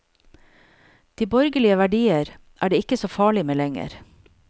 De borgerlige verdier er det ikke så farlig med lenger.